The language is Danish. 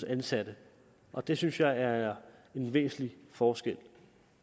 ansatte og det synes jeg er en væsentlig forskel